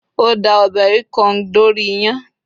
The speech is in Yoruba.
o da ọbè ikong dori iyán